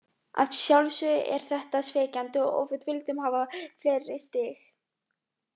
Að sjálfsögðu er þetta svekkjandi og við vildum hafa fleiri stig.